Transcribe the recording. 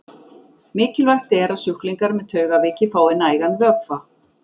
Mikilvægt er að sjúklingar með taugaveiki fái nægan vökva.